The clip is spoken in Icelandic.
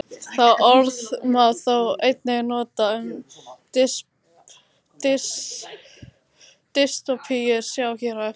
Það orð má þó einnig nota um dystópíur, sjá hér á eftir.